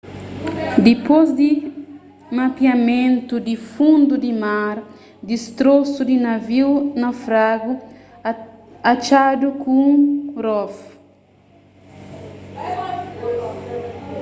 dipôs di mapeamentu di fundu di mar distrosu di naviu naufragadu atxadu ku un rov